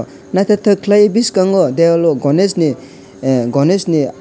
naithotok khlai biskango dewalo ganesh ni ah ganesh ni art.